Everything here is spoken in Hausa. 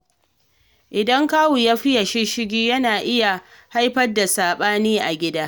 Idan kawu ya faye shisshigi, yana iya haifar da saɓani a gida.